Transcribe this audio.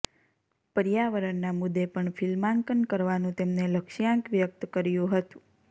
પર્યાવરણના મુદ્દે પણ ફિલ્માંકન કરવાનું તેમને લક્ષ્યાંક વ્યક્ત કર્યું હતું